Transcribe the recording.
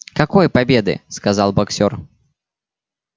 какой победы сказал боксёр